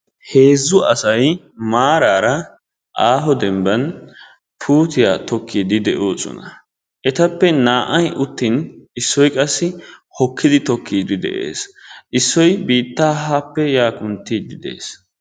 Heezzu asay maraara aaho demban puutiya tokiidi de'oosona. etappe naa'ay uttin issoy qassi hokidi tokiidi de'ees. isoy biitaa haappe yaa kuntiidi de'ees.